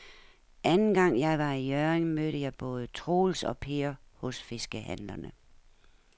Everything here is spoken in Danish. Anden gang jeg var i Hjørring, mødte jeg både Troels og Per hos fiskehandlerne.